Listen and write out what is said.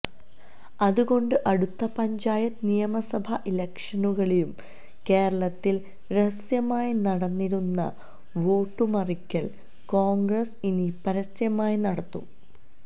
അത് കൊണ്ട് അടുത്ത പഞ്ചായത്ത് നിയമസഭാ ഇലക്ഷനുകളിലും കേരളത്തിൽ രഹസ്യമായി നടന്നിരുന്ന വോട്ടു മറിക്കൽ കോൺഗ്രസ് ഇനി പരസ്യമായി നടത്തും